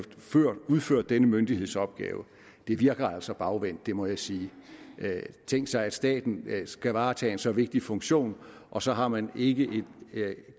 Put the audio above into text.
udført denne myndighedsopgave det virker altså bagvendt må jeg sige tænkt sig at staten skal varetage en så vigtig funktion og så har man ikke et